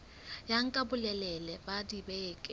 ya nka bolelele ba dibeke